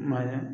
I ma ye